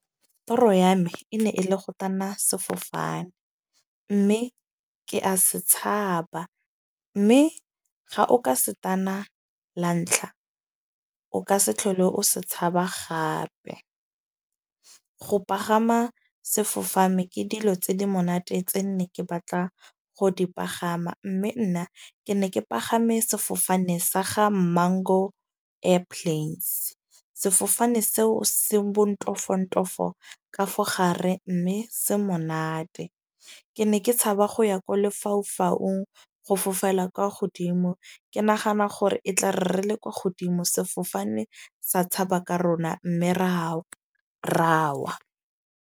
Toro ya me e ne ele go tanna sefofane. Mme ke a se tshaba. Mme ga o ka se tana la ntlha, o ka se tlhole o se tshaba gape. Ko pagama sefofane ke dilo tse di monate tse nne ke batla go di pagama. Mme nna ne ke pagame sefofane sa ga Mango Airplanes. Sefofane seo se bontofontofo ka fo gare mme se monate. Ke ne ke tshaba go ya ko lefaufaung. Go fofela kwa godimo. Ke nagana gore e tlare re le godimo, sefofane sa tshaba ka rona. Mme ra ra wa.